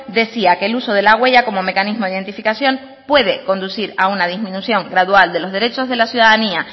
decía que el uso de la huella como mecanismo de identificación puede conducir a una disminución gradual de los derechos de la ciudadanía